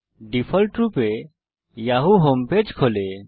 ডিফল্টরূপে Yahoo home page খোলে